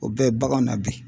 O bɛɛ baganw na bi.